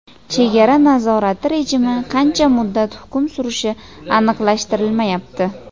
Chegara nazorati rejimi qancha muddat hukm surishi aniqlashtirilmayapti.